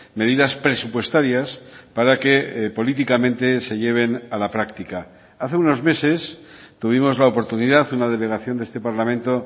medidas presupuestarias para que políticamente se lleven a la práctica hace unos meses tuvimos la oportunidad una delegación de este parlamento